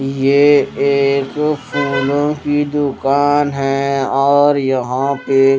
ये एक फूलों की दुकान है और यहां पे--